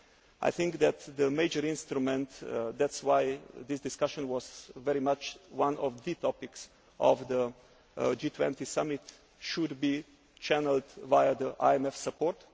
I think that the major instrument that is why this discussion was very much one of the topics of the G20 summit should be channelled via IMF support.